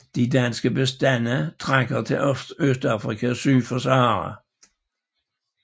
De danske bestande trækker til Østafrika syd for Sahara